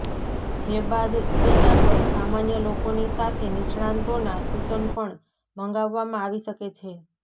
જે બાદ તેના પર સામાન્ય લોકોની સાથે નિષ્ણાંતોના સૂચન પણ મંગાવવામાં આવી શકે છે